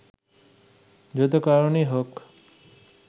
যত কারণই হোক